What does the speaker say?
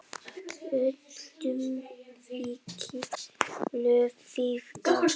Öllum þykir lofið gott.